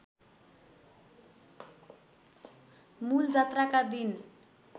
मूल जात्राका दिन